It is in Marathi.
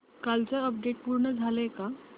कालचं अपडेट पूर्ण झालंय का